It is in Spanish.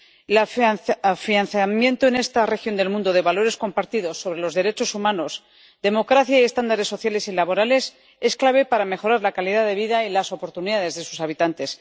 El afianzamiento en esta región del mundo de valores compartidos sobre los derechos humanos, democracia y estándares sociales y laborales es clave para mejorar la calidad de vida y las oportunidades de sus habitantes.